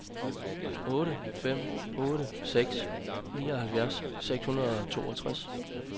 otte fem otte seks nioghalvfjerds seks hundrede og toogtres